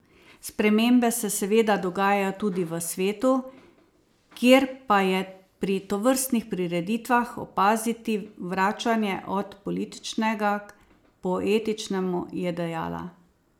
Spremembe se seveda dogajajo tudi v svetu, kjer pa je pri tovrstnih prireditvah opaziti vračanje od političnega k poetičnemu, je dejala.